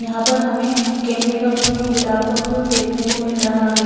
यहां पर हमें गेंदे का फूल गुलाब का फूल देखने को मिल रहा है।